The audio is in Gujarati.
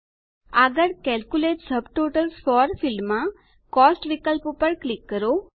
આગળ કેલ્ક્યુલેટ સબટોટલ્સ ફોર ફિલ્ડમાં કોસ્ટ વિકલ્પ પર ક્લિક કરો